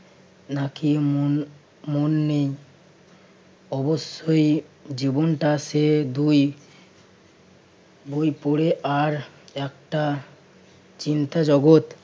নাকি মন~ মন নেই। অবশ্যই জীবনটা সে দুই বই পড়ে আর একটা চিন্তা জগত~